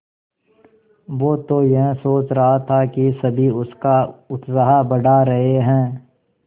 वो तो यह सोच रहा था कि सभी उसका उत्साह बढ़ा रहे हैं